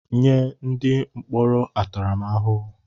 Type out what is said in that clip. Nye ndị atụrụ mkpọrọ ntaramahụhụ!